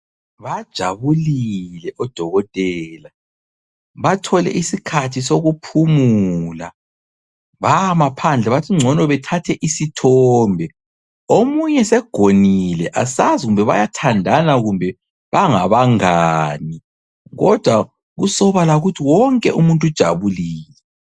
Bajabulile odokotela bathole isikhathi sokuphumula bama phandle bathi ngcono bethathe isithombe. Omunye segonile asazi bayathandana kumbe bangabangani kodwa kusobala ukuthi wonke umuntu ujabulile.